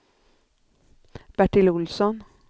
Bertil Olsson